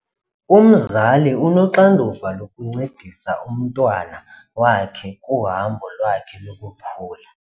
Umzali unoxanduva lokuncedisa umntwana wakhe kuhambo lwakhe lokukhula.